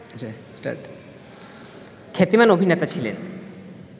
খ্যাতিমান অভিনেতা ছিলেন